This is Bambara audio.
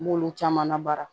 N b'olu caman labara